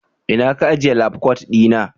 ina Ka ajiye labkwat dina?